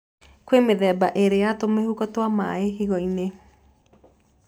Kwĩ mĩthenba ĩrĩ ya tũmĩhuko twĩna maĩ higo-inĩ.